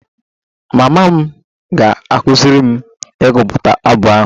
Mama m ga-akụziri m ịgụpụta abụ ahụ